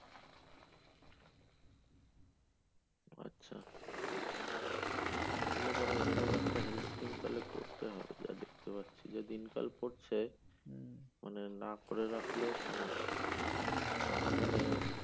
আচ্ছা তাহলে পরে এরকম একটা health scheme তাইলে করতে হবে, যা দেখতে পাচ্ছি। যে দিনকাল পড়ছে হুম, মানে না করে রাখলেও সমস্যা হুম হুম তখন মানে,